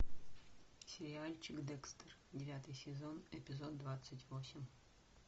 сериальчик декстер девятый сезон эпизод двадцать восемь